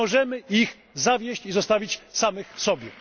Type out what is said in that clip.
Nie możemy ich zawieść i zostawić samych sobie!